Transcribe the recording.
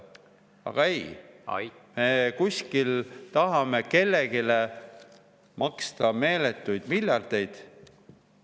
Aga ei, me tahame kuskil kellelegi maksta meeletuid miljardeid.